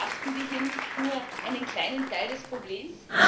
Aber betrachten wir hier nicht nur einen kleinen Teil des Problems?